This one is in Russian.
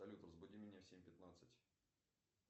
салют разбуди меня в семь пятнадцать